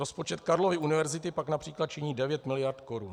Rozpočet Karlovy univerzity pak například činí 9 mld. korun.